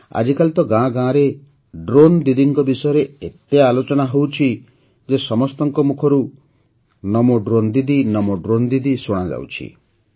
ଆଜିକାଲି ତ ଗାଁ ଗାଁରେ ଡ୍ରୋନ୍ ଦିଦିଙ୍କ ବିଷୟରେ ଏତେ ଆଲୋଚନା ହେଉଛି ଯେ ସମସ୍ତଙ୍କ ମୁଖରୁ ନମୋ ଡ୍ରୋନ୍ ଦିଦି ନମୋ ଡ୍ରୋନ୍ ଦିଦି ଶୁଣାଯାଉଛି